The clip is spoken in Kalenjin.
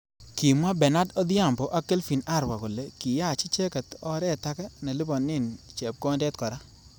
Kimwa Benard Odhiambo ak Kelvin Arwa kole kiyach icheket oret age nelipane chepkondet kora.